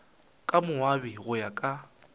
ka moabi go ya ka